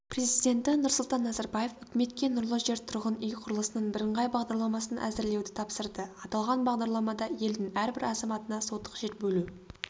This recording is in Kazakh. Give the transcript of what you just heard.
президенті нұрсұлтан назарбаев үкіметке нұрлы жер тұрғын үй құрылысының бірыңғай бағдарламасын әзірлеуді тапсырды аталған бағдарламада елдің әрбір азаматына сотық жер бөлу